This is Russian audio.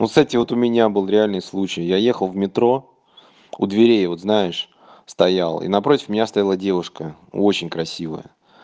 вот к стати вот у меня был реальный случай я ехал в метро у дверей вот знаешь стоял и напротив меня стояла девушка очень красивая